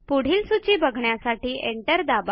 पुढील सूची बघण्यासाठी एंटर दाबा